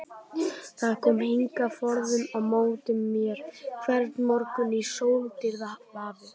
Það kom hingað forðum á móti mér hvern morgun í sóldýrð vafið.